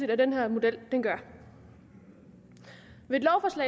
at den her model gør ved